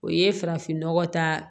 O ye farafin nɔgɔ ta